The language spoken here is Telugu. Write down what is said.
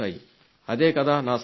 అదే కదా నా సంతోషం